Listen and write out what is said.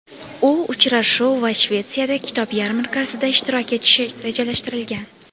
U uchrashuv va Shvetsiyada kitob yarmarkasida ishtirok etishi rejalashtirilgan.